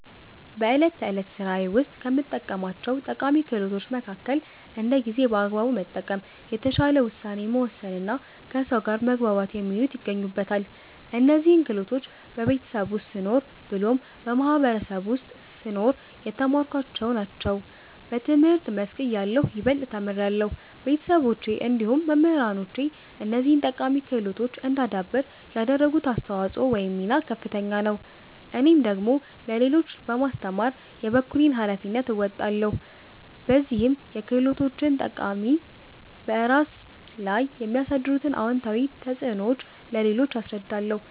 በእለት ተዕለት ስራዬ ውስጥ ከምጠቀማቸው ጠቃሚ ክህሎቶች መከከል እንደ ጊዜን በአግባቡ መጠቀም፣ የተሻለ ውሳኔ መወሰንና ከሰው ጋር መግባባት የሚሉት ይገኙበታል። እነዚህን ክህሎቶች በቤተሰብ ውስጥ ስኖር ብሎም በማህበረሰቡ ውስጥ ስኖር የተማርኳቸውን ናቸው። በትምህርት መስክ እያለሁ ይበልጥ ተምሬያለሁ። ቤተሰቦቼ እንዲሁም መምህራኖቼ እነዚህን ጠቃሚ ክህሎቶች እዳዳብር ያደረጉት አስተዋጽኦ ወይም ሚና ከፍተኛ ነው። እኔም ደግሞ ለሌሎች በማስተማር የበኩሌን ሀላፊነት እወጣለሁ። በዚህም የክህሎቶችን ጠቃሚታ፤ በራስ ላይ የሚያሳድሩት አወንታዊ ተፅዕኖዎች ለሌሎች አስረዳለሁ።